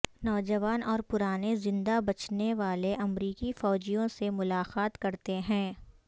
نوجوان اور پرانے زندہ بچنے والے امریکی فوجیوں سے ملاقات کرتے ہیں